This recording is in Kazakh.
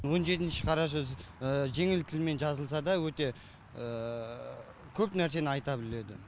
он жетінші қара сөзі жеңіл тілмен жазылса да өте көп нәрсені айта біледі